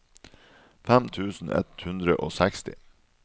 fem tusen ett hundre og seksti